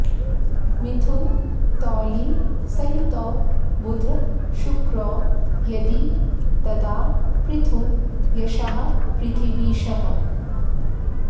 मिथुन तौलि सहितौ बुध शुक्रौ यदि तदा पृथु यशाः पृथिवीशः